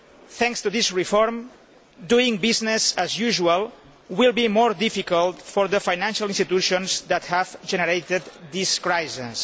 Thanks to this reform, doing business as usual will be more difficult for the financial institutions that have generated this crisis.